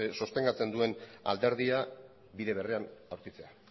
sostengatzen duen alderdia bide berean aurkitzea